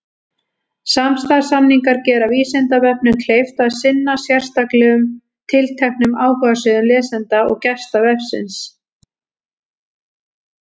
Samstarfssamningar gera Vísindavefnum kleift að sinna sérstaklega tilteknum áhugasviðum lesenda og gesta vefsins.